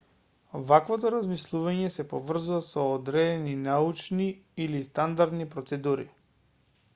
ваквото размислување сe поврзува со одредени научни или стандардни процедури